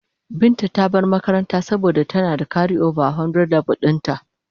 Binta ta bar makaranta saboda tana da karioba a leve 100 dinta.